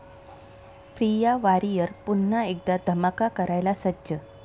प्रिया वारियर पुन्हा एकदा धमाका करायला सज्ज!